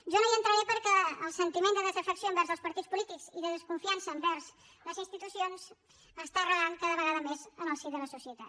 jo no hi entraré perquè el sentiment de desafecció envers els partits polítics i de desconfiança envers les institucions està arrelant cada vegada més en el si de la societat